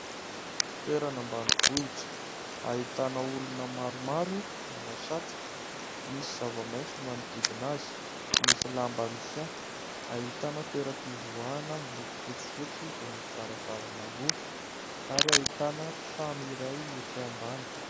Toerana ambanivohitra ahitana olona maromaro manao satroka ; misy zava-maitso manodidina azy, misy lamba mihahy ; ahitana toeram-pivoahana miloko fotsifotsy izay misy varavarana roa ary ahitana trano iray etsy ambany.